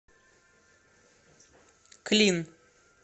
клин